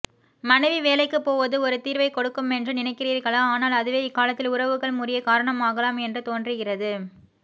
மனைவி வேலைக்குப் போவதுஒரு தீர்வைக் கொடுக்கு மென்று நினைக்கிறீர்களா ஆனால் அதுவே இக்காலத்தில் உறவுகள் முறியக் காரணமாகலாம் என்று தோன்றுகிறது